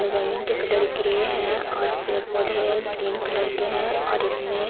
जमीन के colour grey है और पेड़ पौधे ग्रीन कलर के है और इसमें --